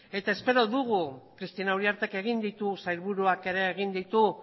eta espero dugu cristina uriartek egin ditu sailburuak ere egin ditu